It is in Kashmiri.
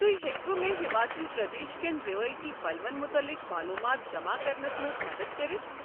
تُہۍ ہیٚکوٕ مےٚ ہماچل پردیش کٮ۪ن رٮ۪وٲیتی پلون متعلق معلوٗمات جمع کرنس منٛز مدتھ کٔرتھ؟